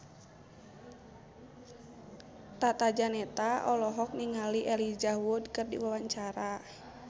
Tata Janeta olohok ningali Elijah Wood keur diwawancara